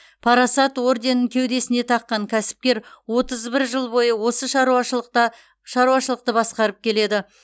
парасат орденін кеудесіне таққан кәсіпкер отыз бір жыл бойы осы шаруашылықта шаруашылықты басқарып келеді